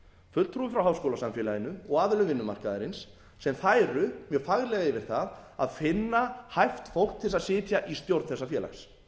fulltrúi frá háskólasamfélaginu og aðilum vinnumarkaðarins sem færu mjög faglega yfir það að finna hæft fólk til þess að sitja í stjórn þessa félags